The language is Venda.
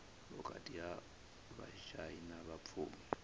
vhukati ha vhashai na vhapfumi